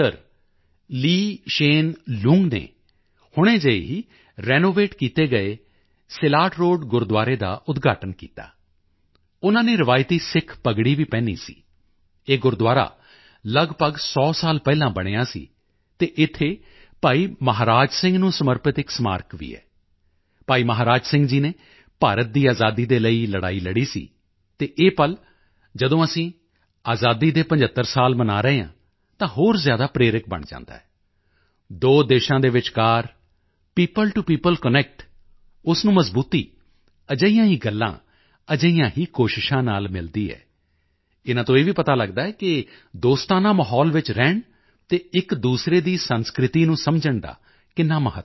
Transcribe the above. Sen Loong Lee Hsien Loong ਨੇ ਹੁਣੇ ਜਿਹੇ ਹੀ ਰਿਨੋਵੇਟ ਕੀਤੇ ਗਏ ਸਿਲਾਟ ਰੋਡ ਗੁਰਦੁਆਰੇ ਦਾ ਉਦਘਾਟਨ ਕੀਤਾ ਉਨ੍ਹਾਂ ਨੇ ਰਵਾਇਤੀ ਸਿੱਖ ਪੱਗੜੀ ਵੀ ਪਹਿਨੀ ਸੀ ਇਹ ਗੁਰਦੁਆਰਾ ਲਗਭਗ 100 ਸਾਲ ਪਹਿਲਾਂ ਬਣਿਆ ਸੀ ਅਤੇ ਇੱਥੇ ਭਾਈ ਮਹਾਰਾਜ ਸਿੰਘ ਨੂੰ ਸਮਰਪਿਤ ਇੱਕ ਸਮਾਰਕ ਵੀ ਹੈ ਭਾਈ ਮਹਾਰਾਜ ਸਿੰਘ ਜੀ ਨੇ ਭਾਰਤ ਦੀ ਆਜ਼ਾਦੀ ਦੇ ਲਈ ਲੜਾਈ ਲੜੀ ਸੀ ਅਤੇ ਇਹ ਪਲ ਜਦੋਂ ਅਸੀਂ ਆਜ਼ਾਦੀ ਦੇ 75 ਸਾਲ ਮਨਾ ਰਹੇ ਹਾਂ ਤਾਂ ਹੋਰ ਜ਼ਿਆਦਾ ਪ੍ਰੇਰਕ ਬਣ ਜਾਂਦਾ ਹੈ ਦੋ ਦੇਸ਼ਾਂ ਦੇ ਵਿਚਕਾਰ ਪੀਓਪਲ ਟੋ ਪੀਓਪਲ ਕਨੈਕਟ ਉਸ ਨੂੰ ਮਜ਼ਬੂਤੀ ਅਜਿਹੀਆਂ ਹੀ ਗੱਲਾਂ ਅਜਿਹੀਆਂ ਹੀ ਕੋਸ਼ਿਸ਼ਾਂ ਨਾਲ ਮਿਲਦੀ ਹੈ ਇਨ੍ਹਾਂ ਤੋਂ ਇਹ ਵੀ ਪਤਾ ਲਗਦਾ ਹੈ ਕਿ ਦੋਸਤਾਨਾ ਮਾਹੌਲ ਵਿੱਚ ਰਹਿਣ ਅਤੇ ਇੱਕਦੂਸਰੇ ਦੀ ਸੰਸਕ੍ਰਿਤੀ ਨੂੰ ਸਮਝਣ ਦਾ ਕਿੰਨਾ ਮਹੱਤਵ ਹੈ